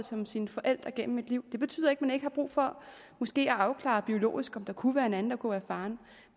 som sine forældre gennem et liv det betyder ikke at man ikke har brug for måske at afklare biologisk om der kunne være en anden der kunne være faren